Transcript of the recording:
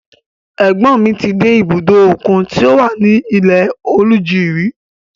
Ẹ̀gbọ́n ni ti dé ibùdó òkun tí ó wà ní Ilẹ-Oluji rí.